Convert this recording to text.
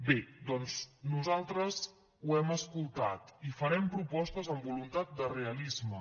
bé doncs nosaltres ho hem escoltat i farem propostes amb voluntat de realisme